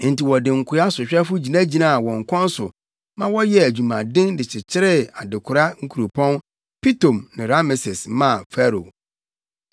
Enti wɔde nkoa sohwɛfo gyinagyinaa wɔn kɔn so ma wɔyɛɛ adwumaden de kyekyeree adekora nkuropɔn Pitom ne Rameses maa Farao.